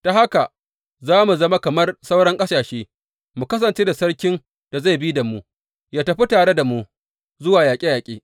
Ta haka za mu zama kamar sauran ƙasashe, mu kasance da sarkin da zai bi da mu, yă tafi tare da mu zuwa yaƙe yaƙe.